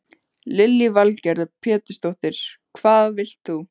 Lillý Valgerður Pétursdóttir: Hvað vilt þú?